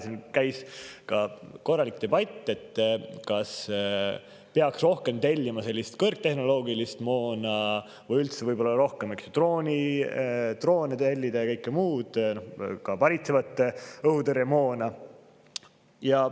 Siin käis ka korralik debatt, kas peaks rohkem tellima kõrgtehnoloogilist moona või võib-olla peaks rohkem tellima droone ja kõike muud, ka varitsevat õhutõrjemoona.